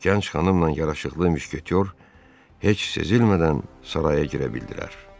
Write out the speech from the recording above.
Gənc xanımla yaraşıqlı müşketor heç sezilmədən saraya girə bildilər.